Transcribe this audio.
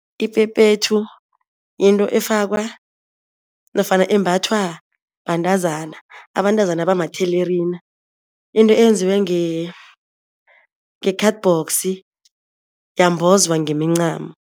Iphephethu yinto efakwa nofana embathwa bantazana, abantazana abamathelerina into eyenziwe nge-cardbox yambozwa ngemincamo.